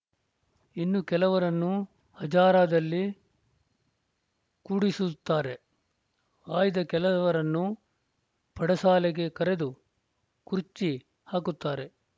ಇನ್ನು ಕೆಲವರನ್ನು ಹಜಾರದಲ್ಲಿ ಕೂಡಿಸುತ್ತಾರೆ ಆಯ್ದ ಕೆಲವರನ್ನು ಪಡಸಾಲೆಗೆ ಕರೆದು ಕುರ್ಚಿ ಹಾಕುತ್ತಾರೆ